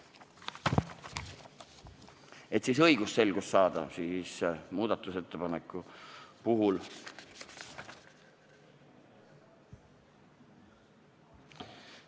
Et õigusselgust saada, siis muudatusettepaneku puhul ...